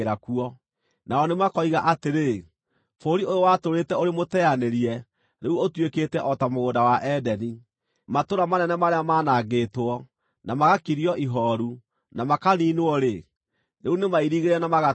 Nao nĩmakoiga atĩrĩ, “Bũrũri ũyũ watũũrĩte ũrĩ mũteanĩrie rĩu ũtuĩkĩte o ta mũgũnda wa Edeni; matũũra manene marĩa maanangĩtwo, na magakirio ihooru, na makaniinwo-rĩ, rĩu nĩmairigĩre na magatũũrwo.”